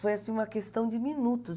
Foi assim uma questão de minutos.